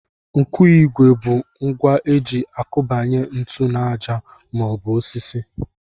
Nkụigwe bụ ngwa e ji akụbanye ntu n'àjà maọbụ osisi